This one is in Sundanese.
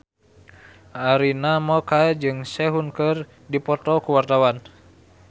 Arina Mocca jeung Sehun keur dipoto ku wartawan